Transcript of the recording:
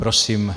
Prosím.